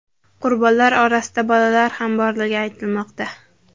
Qurbonlar orasida bolalar ham borligi aytilmoqda.